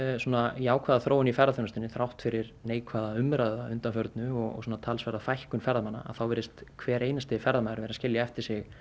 jákvæða þróun í ferðaþjónustu þrátt fyrir neikvæða umræðu að undanförnu og talsverða fækkun ferðamanna þá virðist hver einasti ferðamaður vera að skilja eftir sig